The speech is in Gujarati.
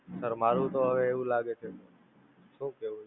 Sir મારુ તો હવે એવું લાગે છે, શું કેવું!